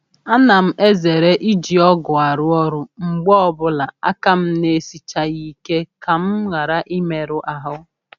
A na m ezere iji ọgụ arụ ọrụ mgbe ọbụla aka m n'esichaaghị ike ka m ghara imerụ ahụ.